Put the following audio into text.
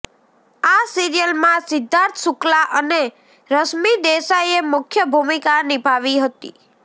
આ સીરિયલમાં સિદ્ધાર્થ શુક્લા અને રશ્મિ દેસાઇએ મુખ્ય ભૂમિકા નિભાવી હતી